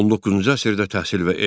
19-cu əsrdə təhsil və elm.